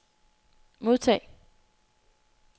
modtag